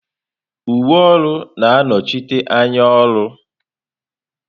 Uwe ọrụ na-anọchite anya ọrụ.